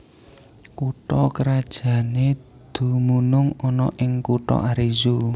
Kutha krajané dumunung ana ing kutha Arezzo